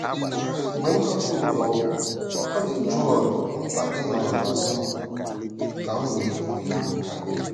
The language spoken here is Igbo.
Mgbe m hapụrụ ụlọ ọgwụ, ọ dị Joel mkpa ịnọrọ n'azụ ka m nwee ibu ibu karị.